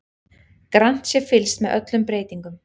Grannt sé fylgst með öllum breytingum